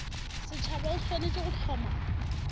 setšhaba o swanetše go hloma